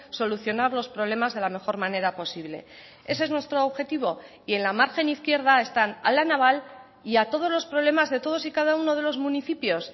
solucionar los problemas de la mejor manera posible ese es nuestro objetivo y en la margen izquierda están a la naval y a todos los problemas de todos y cada uno de los municipios